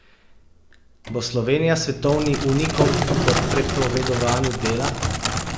Bo Slovenija svetovni unikum po prepovedovanju dela?